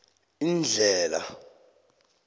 indlhela